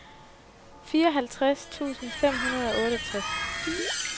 fireoghalvtreds tusind fem hundrede og otteogtres